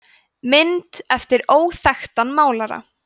mynd eftir óþekktan málara